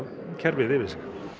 kerfið yfir sig